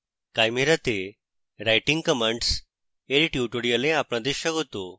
chimera তে writing commands এই tutorial আপনাদের স্বাগত